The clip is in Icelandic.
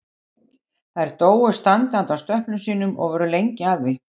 Þær dóu standandi á stöplum sínum og voru lengi að því.